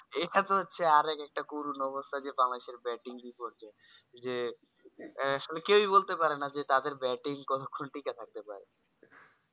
এখানে হচ্ছে আরেকটা করুন অবস্থা যে বাংলাদেশের যে batting বিপর্যয়ে যে এ আসলে কেওই বলতে পারে না যে তাদের batting কত খান টিকে থাকতে পারে